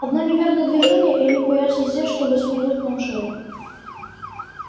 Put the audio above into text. одно неверное движение и они появятся здесь чтобы свернуть нам шею